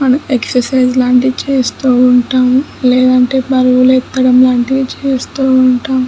మనం ఎక్సర్సిస్ లాంటివి చేస్తూ ఉంటాము. లేదంటే బరువులు ఎత్తటం వంటివి చేస్తూ ఉంటాము.